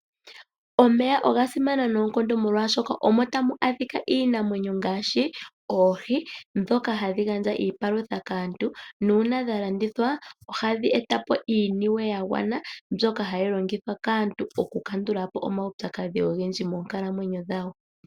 Omeya oga simana noonkondo molwaashoka, omo tamu adhika iinamwenyo ngaashi: oohi, ndhoka hadhi gandja iipalutha kaantu, nuuna dha landithwa ohadhi eta po iiniwe ya gwana, mbyoka hayi longithwa kaantu okukandula po omaupyakadhi ogendji monkalamwenyo dhawo.